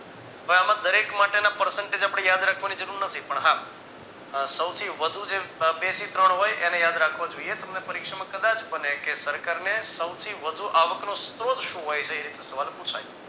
ભાઈ આમા દરેક માટેના પ્રસંગ છે જે આપણે યાદ રાખવાની જરૂર નથી પણ હા સૌથી વધુ જે બે થી ત્રણ હોય એને યાદ રાખવા જોઈએ તમને પરીક્ષામાં કદાચ બને કે સરકારને સૌથી વધુ આવકનો સ્ત્રોત શું હોય છે એ રીત નો સવાલ પુછાય